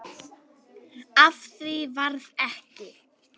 Af því varð ekki.